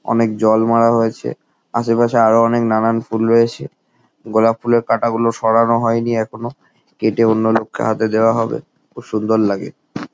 অনেক জল মারা হয়েছে। আসে পাশে আরো অনেক নানান ফুল রয়েছে। গোলাপ ফুলের কাটা গুলো সরানো হয় নি এখনো। কেটে অন্য লোককে হাতে দেওয়া হবে। খুব সুন্দর লাগে।